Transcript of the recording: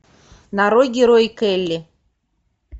нарой герои келли